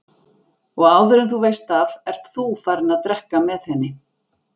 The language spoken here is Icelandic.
Og áður en þú veist af ert ÞÚ farinn að drekka með henni!